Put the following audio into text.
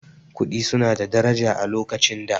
Kuɗi su na da daraja a lokacin da